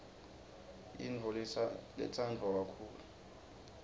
yintfo letsandvwa kakhulu